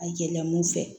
A yɛlɛla mun fɛ